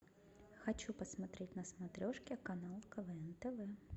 хочу посмотреть на смотрешке канал квн тв